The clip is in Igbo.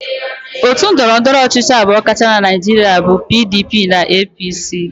Otu ndọrọndọrọ ọchịchị abụọ kacha na Naịjirịa bụ PDP na APC.